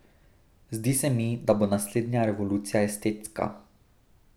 Zdi se mi, da bo naslednja revolucija estetska.